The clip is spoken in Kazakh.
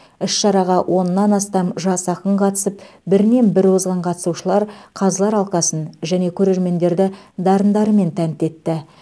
іс шараға оннан астам жас ақын қатысып бірінен бірі озған қатысушылар қазылар алқасын және көрермендерді дарындарымен тәнті етті